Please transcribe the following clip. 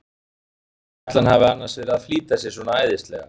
Af hverju ætli hann hafi annars verið að flýta sér svona æðislega!